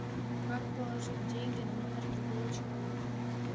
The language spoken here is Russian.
как положить деньги на номер другого человека